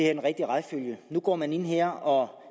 er den rigtige rækkefølge nu går man ind her og